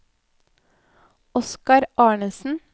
Oskar Arnesen